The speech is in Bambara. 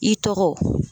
I tɔgɔ